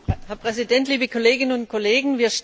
Herr Präsident, liebe Kolleginnen und Kollegen!